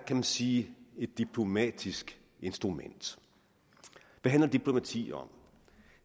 kan sige er et diplomatisk instrument hvad handler diplomati om